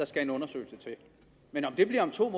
skal en undersøgelse til men om det bliver om to